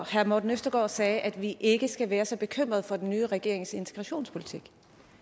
herre morten østergaard sagde at vi ikke skal være så bekymret for den nye regerings integrationspolitik